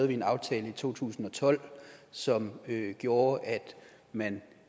vi en aftale i to tusind og tolv som gjorde at man